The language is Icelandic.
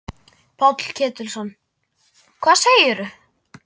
Páll Ketilsson: Hvað segirðu?